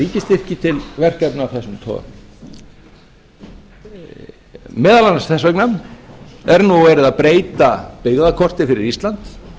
ríkisstyrki til verkefna af þessum toga meðal annars þess vegna er nú verið að breyta byggðakorti fyrir ísland